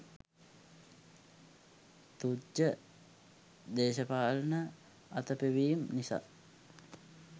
තුච්ඡ දේශපාලන අතපෙවීම් නිසා